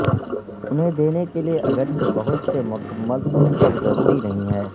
انہیں دینے کے لئے اگرچہ بہت سے مکمل طور پر ضروری نہیں ہے